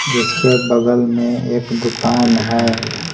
जिसके बगल में एक दुकान है।